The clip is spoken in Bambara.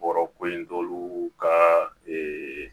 Bɔrɔko in t'olu ka ee